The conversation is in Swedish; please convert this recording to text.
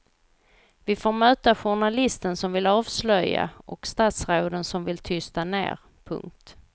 Vi får möta journalisten som vill avslöja och statsråden som vill tysta ned. punkt